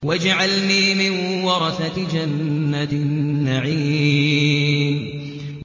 وَاجْعَلْنِي مِن وَرَثَةِ جَنَّةِ النَّعِيمِ